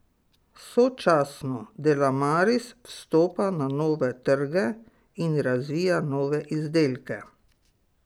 Sočasno Delamaris vstopa na nove trge in razvija nove izdelke.